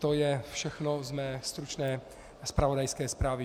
To je všechno z mé stručné zpravodajské zprávy.